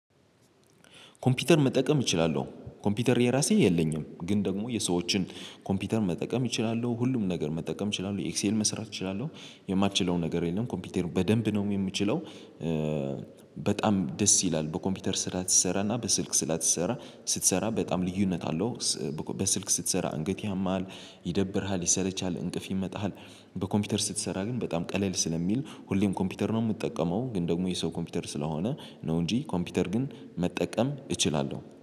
ኮምፒውተር መጠቀም እችላለሁ። ኮምፒውተር የራሴ የለኝም ግን ደግሞ የሰዎችን ኮምፒውተር መጠቀም እችላለሁ ሁሉም ነገር መጠቀም እችላለሁ ኤክሴል መስራት እችላለሁ። የማልችለው ነገር የለም ኮምፒውተር በደንብ ነው የምችለው። በጣም ደስ ይላል በኮምፒውተር ስራ ስትሰራና በስልክ ስራ ስሰራ ስትሰራ በጣም ልዩነት አለው። በስልክ ስትሰራ አንገት ያማል ይደብርሃል ይሰለችሀል እንቅልፍ ይመጣሃል። በኮምፒውተር ስትሰራ ግን በጣም ቀለል ስለሚል ሁሌም ኮምፒውተር ነው የምጠቀመው ግን ደግሞ የሰው ኮምፒውተር ስለሆነ ነው እንጂ ኮምፒውተር ግን መጠቀም እችላለሁ